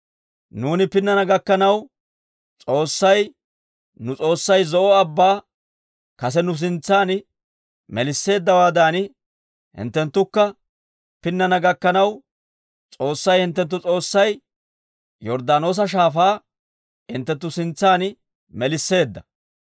Nuuni pinnana gakkanaw, S'oossay nu S'oossay Zo'o Abbaa kase nu sintsan melisseeddawaadan, hinttenttukka pinnana gakkanaw, S'oossay hinttenttu S'oossay Yorddaanoosa Shaafaa hinttenttu sintsan melisseedda.